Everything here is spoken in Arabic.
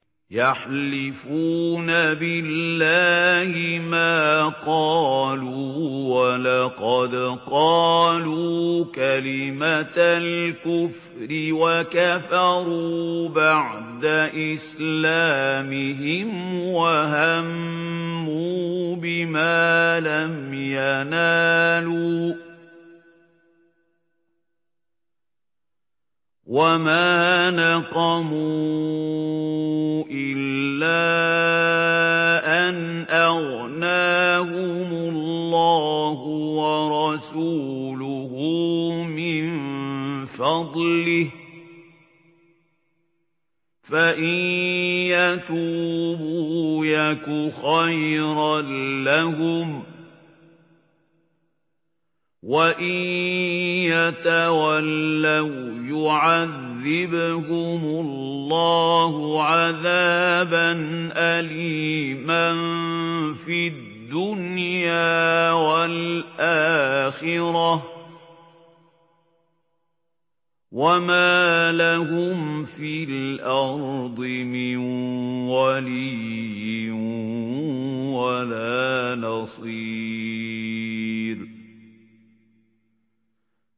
يَحْلِفُونَ بِاللَّهِ مَا قَالُوا وَلَقَدْ قَالُوا كَلِمَةَ الْكُفْرِ وَكَفَرُوا بَعْدَ إِسْلَامِهِمْ وَهَمُّوا بِمَا لَمْ يَنَالُوا ۚ وَمَا نَقَمُوا إِلَّا أَنْ أَغْنَاهُمُ اللَّهُ وَرَسُولُهُ مِن فَضْلِهِ ۚ فَإِن يَتُوبُوا يَكُ خَيْرًا لَّهُمْ ۖ وَإِن يَتَوَلَّوْا يُعَذِّبْهُمُ اللَّهُ عَذَابًا أَلِيمًا فِي الدُّنْيَا وَالْآخِرَةِ ۚ وَمَا لَهُمْ فِي الْأَرْضِ مِن وَلِيٍّ وَلَا نَصِيرٍ